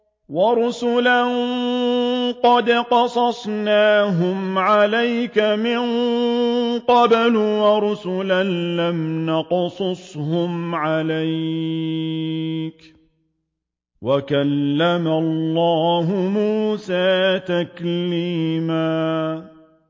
وَرُسُلًا قَدْ قَصَصْنَاهُمْ عَلَيْكَ مِن قَبْلُ وَرُسُلًا لَّمْ نَقْصُصْهُمْ عَلَيْكَ ۚ وَكَلَّمَ اللَّهُ مُوسَىٰ تَكْلِيمًا